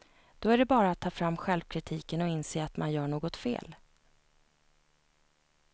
Då är det bara att ta fram självkritiken och inse att man gör något fel.